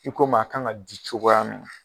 I ko maa a kan ka di cogoya min na.